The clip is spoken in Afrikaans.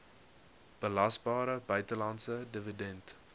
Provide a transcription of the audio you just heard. belasbare buitelandse dividend